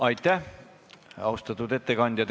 Aitäh, austatud ettekandja!